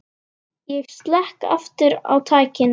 Ég slekk aftur á tækinu.